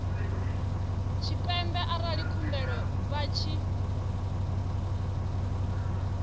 tshipembe arali khumbelo vha tshi